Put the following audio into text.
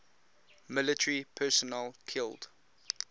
military personnel killed